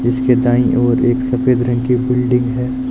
जिसके दाईं ओर एक सफेद रंग की बिल्डिंग है।